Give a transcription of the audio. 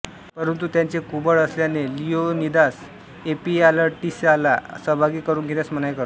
परंतु त्याचे कुबड असल्याने लिओनिदास एफियालटीसला सहभागी करून घेण्यास मनाई करतो